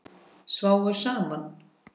Sváfu saman?